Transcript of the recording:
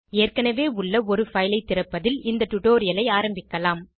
ஏற்கனவே உள்ள ஒரு பைல் ஐ திறப்பதில் டுடோரியலை ஆரம்பிக்கலாம்